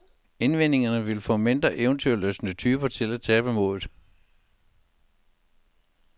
Indvendingerne ville få mindre eventyrlystne typer til at tabe modet.